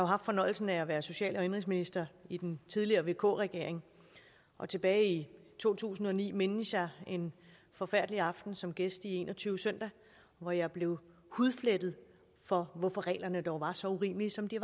haft fornøjelsen af at være social og indenrigsminister i den tidligere vk regering og tilbage i to tusind og ni mindes jeg en forfærdelig aften som gæst i en og tyve søndag hvor jeg blev hudflettet for hvorfor reglerne dog var så urimelige som de